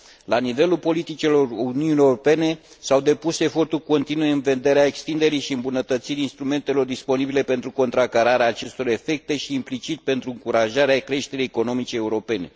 La nivelul politicilor Uniunii Europene s au depus eforturi continue în vederea extinderii și îmbunătățirii instrumentelor disponibile pentru contracararea acestor efecte și, implicit, pentru încurajarea creșterii economice europene.